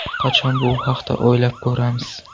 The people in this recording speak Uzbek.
Qachon bu haqda o‘ylab ko‘ramiz?!